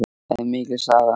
Það er mikil saga.